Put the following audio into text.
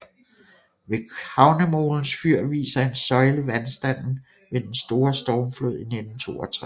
Ved havnemolens fyr viser en søjle vandstanden ved den store stormflod i 1962